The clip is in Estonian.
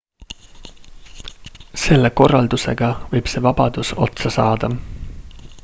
selle korraldusega võib see vabadus otsa saada